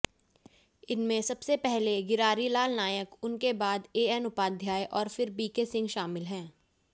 इनमें सबसे पहले गिरारीलाल नायक उनके बाद एएन उपाध्याय और फिर बीके सिंह शामिल हैं